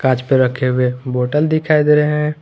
कांच पे रखे हुए बॉटल दिखाई दे रहे हैं।